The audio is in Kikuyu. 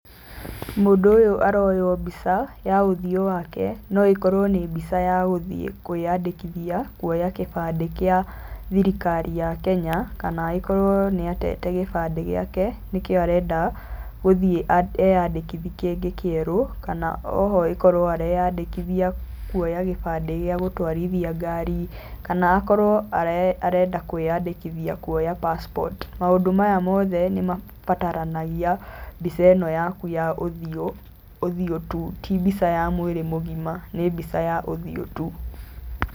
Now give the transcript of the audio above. Mũndũ ũyũ aroywo mbica ya ũthiũ wake. No ĩkorwo nĩ mbica ya gũthiĩ kũĩandĩkithia kuoya kĩbandĩ kĩa thirikari ya Kenya kana agĩkorwo nĩ aatete gĩbandĩ gĩake nĩkĩo arenda gũthiĩ eyandĩkithi kĩngĩ kĩerũ kana oho, agĩkorwo areĩandĩkithia kuoya gĩbandĩ kĩa gũtwarithia ngari, kana akorwo arenda kũĩandĩkithia kuoya passport. Maũndũ maya mothe nĩ mabataragia mbica ĩno yaku ya ũthiũ, ũthiũ tu, ti mbica ya mwĩrĩ mũgima nĩ mbica ya ũthiũ tu.